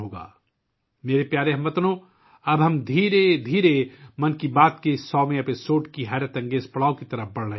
میرے پیارے ہم وطنو، اب ہم آہستہ آہستہ 'من کی بات' کے 100ویں ایپیسوڈ کے بے مثال سنگ میل کی طرف بڑھ رہے ہیں